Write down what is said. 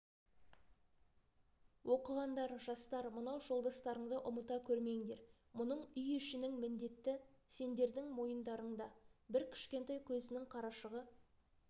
оқығандар жастар мынау жолдастарыңды ұмыта көрмеңдер мұның үй ішінің міндеті сендердің мойындарыңда бір кішкентай көзінің қарашығы